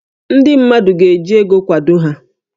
Ndị mmadụ ga-eji ego kwado ha